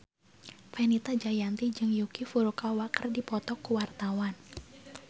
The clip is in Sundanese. Fenita Jayanti jeung Yuki Furukawa keur dipoto ku wartawan